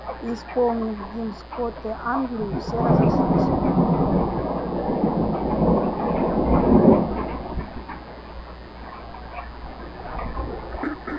и исполнив гимн скоты англии все разошлись